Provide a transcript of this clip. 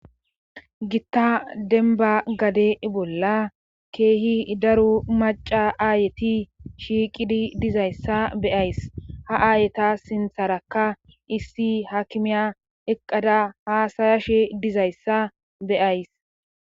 gitta denba gade bolla keehi daru maca aayeti shiiqidi dizayssa beyays ha aayeta sintharakka issi hakimiya eqqada haasayashe dizayssa beyays